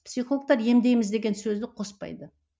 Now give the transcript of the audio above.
психологтар емдейміз деген сөзді қоспайды